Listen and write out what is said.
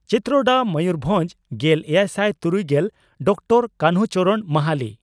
ᱪᱤᱛᱨᱚᱰᱟ ᱢᱚᱭᱩᱨᱵᱷᱚᱸᱡᱽ ᱾ᱜᱮᱞ ᱮᱭᱟᱭᱥᱟᱭ ᱛᱩᱨᱩᱭᱜᱮᱞ ᱰᱚᱠᱴᱚᱨ ᱠᱟᱱᱦᱩ ᱪᱚᱨᱚᱬ ᱢᱟᱦᱟᱞᱤ